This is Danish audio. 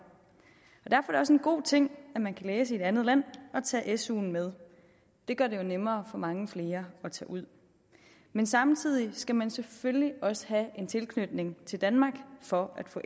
og også en god ting at man kan læse i et andet land og tage suen med det gør det jo nemmere for mange flere at tage ud men samtidig skal man selvfølgelig også have en tilknytning til danmark for at få